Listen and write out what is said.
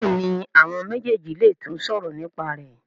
Béèni àwọn méjèjì lè tún sòrò nípa rẹ.